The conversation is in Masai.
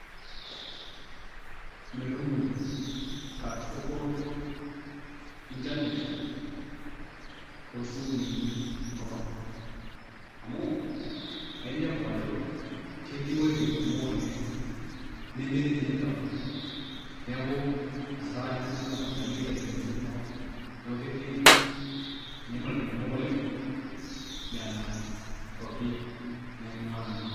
metumoy katukul inernet to sukuulini enkop ang. amu inepu ajo ketii iwueitin kumok oleng nemetii ninye network neku asa taa metii network paa ijo internet etumi teina kop. neeku ketii inyamalitin kumok oleng nena kuapi nainguaa nanu.